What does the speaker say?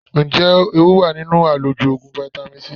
Ǹjẹ́ ewu wà nínú àlòjù Ògùn fáítámì C?